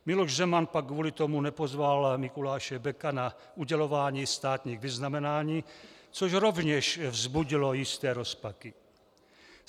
Miloš Zeman pak kvůli tomu nepozval Mikuláše Beka na udělování státních vyznamenání, což rovněž vzbudilo jisté rozpaky.